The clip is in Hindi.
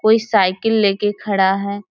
कोई साइकिल लेकर खड़ा है।